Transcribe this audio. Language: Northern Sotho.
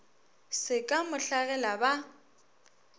se ka mo hlagela ba